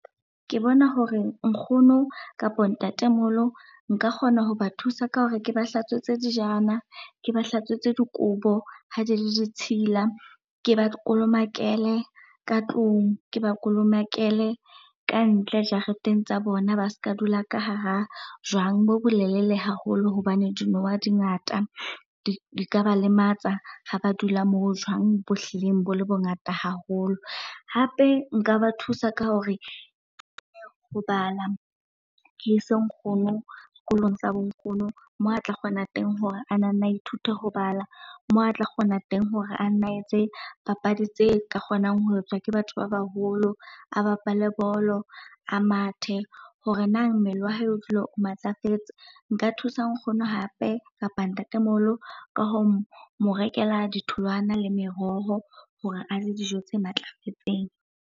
Ke bona hore nkgono kapa ntatemoholo nka kgona ho ba thusa ka hore ke ba hlatswetse dijana, ke ba hlatswetse dikobo ha di ditshila, ke ba kolomakele ka tlung, ke ba kolomakele kantle jareteng tsa bona. Ba ska dula ka hara jwang bo bolelele haholo hobane dinoha di ngata, di ka ba lematsa ha ba dula moo jwang bo hlileng bo le bongata haholo. Hape nka ba thusa ka hore ho bala, ke ise nkgono sekolong sa bo nkgono moo a tla kgona teng hore a nana a ithute ho bala, moo a tla kgona teng hore ana etse papadi tse ka kgonang ho etswa ke batho ba baholo, a bapale bolo, a mathe hore nang mmele wa hae o dula o matlafetse. Nka thusa nkgono hape kapa ntatemoholo ka ho mo rekela ditholwana le meroho hore a je dijo tse matlafetseng.